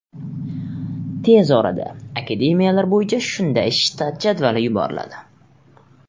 Tez orada akademiyalar bo‘yicha shunday shtat jadvali yuboriladi.